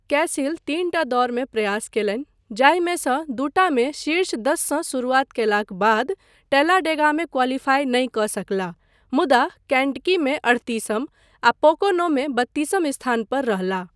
कैसिल तीनटा दौड़मे प्रयास कयलनि, जाहिमे सँ दूटा मे शीर्ष दससँ शरुआत कयलाक बाद टैलाडेगामे क्वालीफाई नहि कऽ सकलाह मुदा केंटकीमे अठतीसम आ पोकोनोमे बत्तीसम स्थान पर रहलाह।